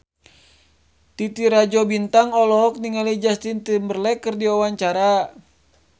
Titi Rajo Bintang olohok ningali Justin Timberlake keur diwawancara